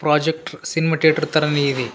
Projector cinema theatre ತರಾನೇ ಇರಿ .